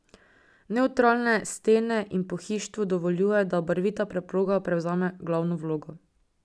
Nevtralne stene in pohištvo dovoljujejo, da barvita preproga prevzame glavno vlogo.